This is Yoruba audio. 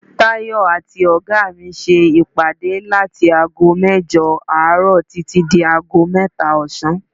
Tayọ àti oga mi ṣe ìpàdé láti ago mẹ́jọ àárọ̀ títí dé ago mẹ́ta ọ̀sán.